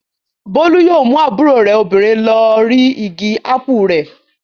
Bólú yóò mú àbúrò rẹ̀ obìnrin lọ rí igi ápù rẹ̀.